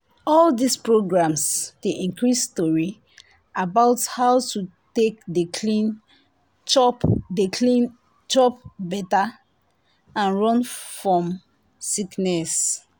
all dis programs dey increase tori about how to take dey clean chop dey clean chop better and run fom sickness.